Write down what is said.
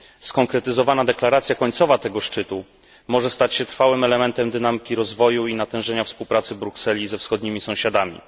Skonkretyzowana deklaracja końcowa tego szczytu może stać się trwałym elementem dynamiki rozwoju i natężenia współpracy Brukseli ze wschodnimi sąsiadami.